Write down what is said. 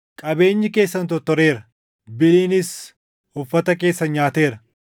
Qabeenyi keessan tortoreera; biliinis uffata keessan nyaateera.